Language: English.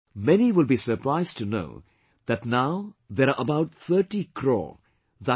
Many will be surprised to know that now there are about 30 Crore, i